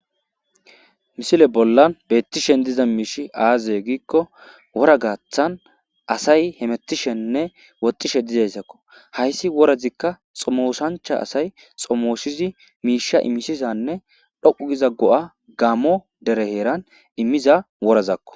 Misile bolla beetishn diza miishy aaze gikon wora gaathani asay hemetishenne woxishe dizaysakko. Haysi worazika xomoosancha asay xomosidi misha imisizanne dhoqu gida go'a gaamo dere heran imiza worazako.